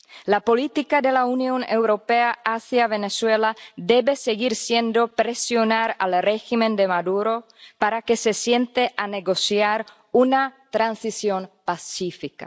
La política de la Unión Europea hacia Venezuela debe seguir siendo presionar al régimen de Maduro para que se siente a negociar una transición pacífica.